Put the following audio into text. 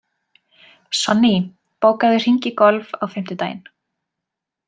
Sonný, bókaðu hring í golf á fimmtudaginn.